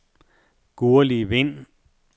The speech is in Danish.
Gurli Vind